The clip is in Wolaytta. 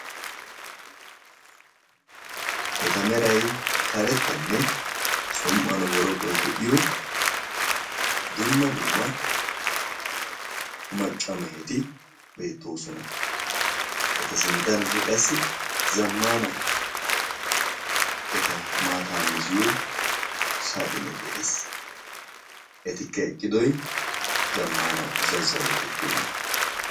Eta meray karettanne som''uwan boroqqoy de'iyo dumma dumma macca meheti beettoosona. Eta sinttankka qassi zammana eta maataa mizziyo saxxine de'ees. etikka eqqidooy zammana zazzalo giddoona.